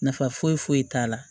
Nafa foyi foyi t'a la